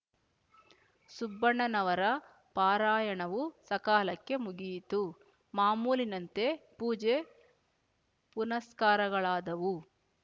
ಸುಬ್ಬಣ್ಣನವರ ಪಾರಾಯಣವು ಸಕಾಲಕ್ಕೆ ಮುಗಿಯಿತು ಮಾಮೂಲಿನಂತೆ ಪೂಜೆ ಪುನಸ್ಕಾರಗಳಾದವು